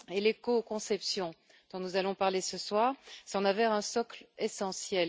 L'écoconception, dont nous allons parler ce soir, en est un socle essentiel.